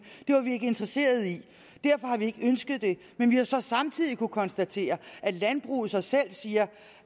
det var vi ikke interesserede i derfor har vi ikke ønsket det men vi har så samtidig kunnet konstatere at landbruget så selv siger